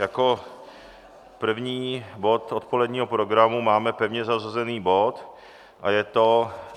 Jako první bod odpoledního programu máme pevně zařazený bod a je to